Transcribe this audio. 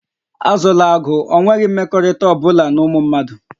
Azụla agụ, ọ nweghị mmekọrịta ọ bụla na ụmụ mmadụ!